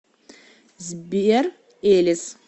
сбер элис